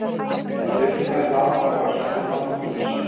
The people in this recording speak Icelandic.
Við tökum þá í faðm okkar og sendum þá til guðs.